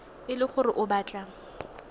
e le gore o batla